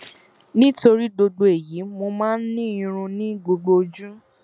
nítorí gbogbo èyí mo máa ń ní irun ní gbogbo ojú